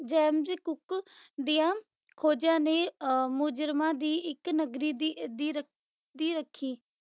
James Cook ਦੀਆਂ ਖੋਜਾਂ ਨੇ ਅਹ ਮੁਜਰਮਾਂ ਦੀ ਇੱਕ ਨਗਰੀ ਦੀ ਦੀ ਦੀ ਰੱਖੀ